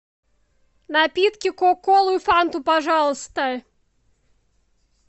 напитки кока колу и фанту пожалуйста